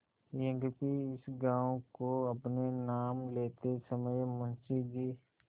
यद्यपि इस गॉँव को अपने नाम लेते समय मुंशी जी